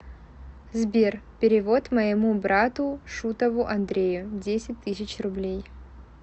сбер перевод моему брату шутову андрею десять тысяч рублей